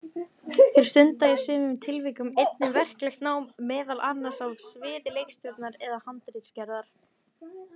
Þeir stunda í sumum tilvikum einnig verklegt nám, meðal annars á sviði leikstjórnar eða handritsgerðar.